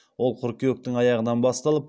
ол қыркүйектің аяғынан басталып